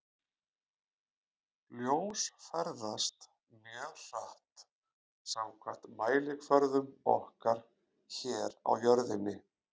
Ljós ferðast mjög hratt samkvæmt mælikvörðum okkar hér á jörðinni.